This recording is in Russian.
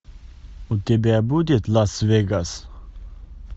у тебя будет лас вегас